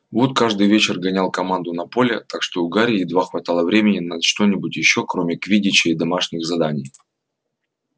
вуд каждый вечер гонял команду на поле так что у гарри едва хватало времени на что-нибудь ещё кроме квиддича и домашних заданий